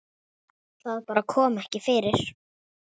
Það bara kom ekki fyrir.